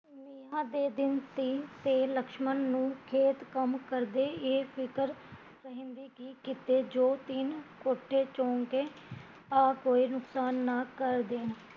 ਤੀਆ ਦੇ ਦਿਨ ਤੀ ਤੇ ਲਕਸ਼ਮਣ ਨੂੰ ਖੇਤ ਕੰਮ ਕਰਦੇ ਇਹ ਫ਼ਿਕਰ ਰਹਿੰਦੀ ਕੀ ਕਿਤੇ ਜੋ ਤਿੰਨ ਕੋਠੇ ਚੋਣਗੇ ਆ ਕੇ ਰੁੱਤਾਂ ਨਾ ਕਰ ਦੇਣ